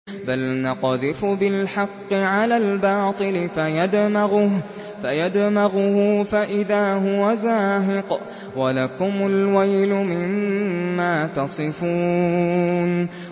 بَلْ نَقْذِفُ بِالْحَقِّ عَلَى الْبَاطِلِ فَيَدْمَغُهُ فَإِذَا هُوَ زَاهِقٌ ۚ وَلَكُمُ الْوَيْلُ مِمَّا تَصِفُونَ